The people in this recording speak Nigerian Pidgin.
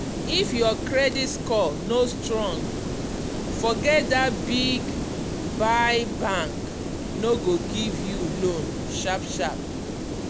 if your credit score no strong forget that big buy bank no go give you loan sharp sharp.